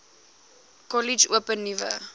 kollege open nuwe